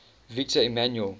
victor emmanuel